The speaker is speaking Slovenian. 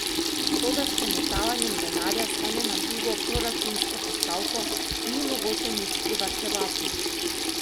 Toda s premetavanjem denarja z ene na drugo proračunsko postavko ni mogoče nič privarčevati.